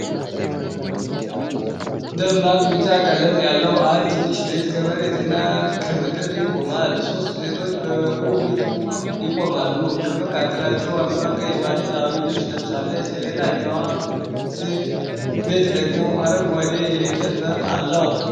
ደማቅ ቢጫ ቀለም ያለው አንድ ትንሽ ቤት ከመሬትና ከምድር ይቆማል። ሶስት ሴቶች በበሩ ፊት ይቆማሉ፤ ከመካከላቸው አንዷ ቀይ ባህላዊ ልብስ ለብሳለች። ሌላኛው ቤት ደግሞ አረንጓዴ የእንጨት በር አለው።